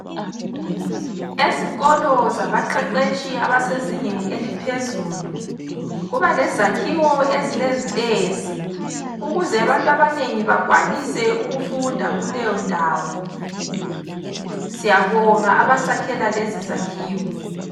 Ezikolo zabaqeqetshi abasezingeni eliphezulu, kuba lezakhiwo ezilezitezi ukuze abantu abanengi bakwanise ukufunda kuleyondawo. Siyabonga abasakhela lezi zakhiwo.